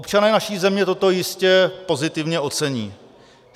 Občané naší země toto jistě pozitivně ocení.